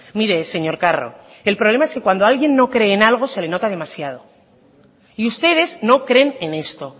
mire señor carro el problema es que cuando alguien no cree en algo se le nota demasiado y ustedes no creen en esto